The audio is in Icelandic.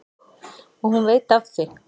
Og hún veit af því.